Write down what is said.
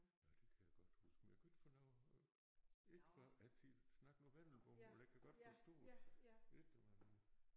Ja det kan jeg godt huske men jeg kunne ikke få noget ikke få jeg siger snak nu vendelbomål jeg kan godt forstå det ikke om han ville